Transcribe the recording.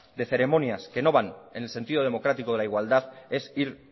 de ceremonias que no van en el sentido democrático de la igualdad es ir